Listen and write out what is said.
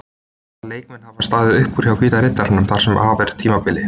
Hvaða leikmenn hafa staðið upp úr hjá Hvíta riddaranum þar sem af er tímabili?